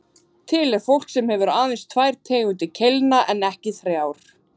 Til er fólk sem hefur aðeins tvær tegundir keilna en ekki þrjár.